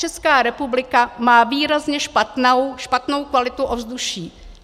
Česká republika má výrazně špatnou kvalitu ovzduší.